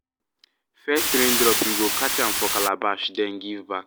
first rain drop we go catch am for calabash then give back.